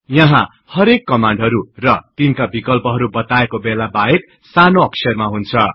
यहाँ हरेक कमान्डहरु र तिनका विकल्पहरु बताएको बेला बाहेक सानो अक्षरमा हुन्छ